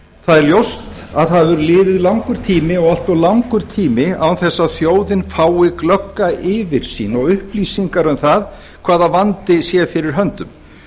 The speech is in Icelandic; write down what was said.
það er ljóst að það hefur liðið langur tími og allt of langur tími án þess að þjóðin fái glögga yfirsýn og upplýsingar um það hvaða vandi sé fyrir höndum